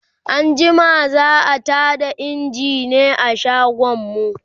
anjima za'a Tada engine a shagon mu